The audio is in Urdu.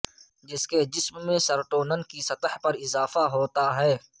جس میں جسم میں سرٹونن کی سطح میں اضافہ ہوتا ہے